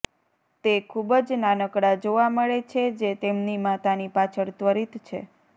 તે ખૂબ જ નાનકડા જોવા મળે છે જે તેમની માતાની પાછળ ત્વરિત છે